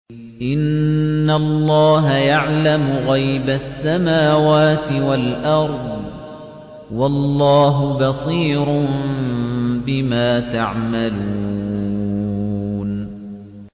إِنَّ اللَّهَ يَعْلَمُ غَيْبَ السَّمَاوَاتِ وَالْأَرْضِ ۚ وَاللَّهُ بَصِيرٌ بِمَا تَعْمَلُونَ